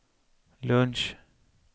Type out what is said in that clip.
lunch